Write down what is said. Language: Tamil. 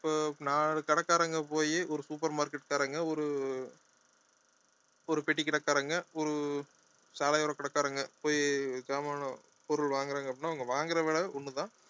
நாலு கடைக்காரங்க போயி ஒரு super market காரங்க ஒரு ஒரு பெட்டிக்கடைக்காரங்க ஒரு சாலையோர கடைக்காரங்க போய் சாமான பொருள் வாங்குறாங்க அப்படின்னா அவங்க வாங்குற விலை ஒண்ணுதான்